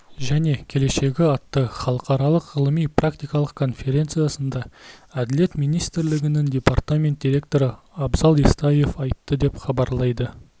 және келешегі атты халықаралық ғылыми-практикалық конференциясында әділет министрлігінің департамент директоры абзал естаев айтты деп хабарлайды